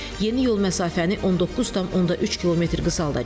Yeni yol məsafəni 19,3 km qısaldacaq.